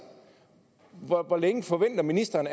hvor længe forventer ministeren